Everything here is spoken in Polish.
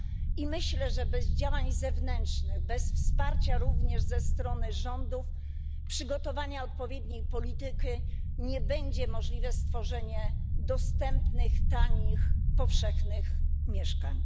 I myślę, że bez działań zewnętrznych, bez wsparcia również ze strony rządów, bez przygotowania odpowiedniej polityki nie będzie możliwe stworzenie tanich i powszechnie dostępnych mieszkań.